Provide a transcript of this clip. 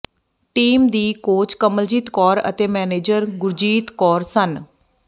team ਦੀ coach Kamaljit Kaur ਅਤੇ manager Gurjit Kaur ਸਨ